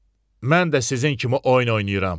Mən də sizin kimi oyun oynayıram.